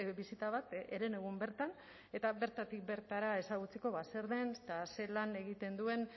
bisita bat herenegun bertan eta bertatik bertara ezagutzeko zer den eta zelan egiten duen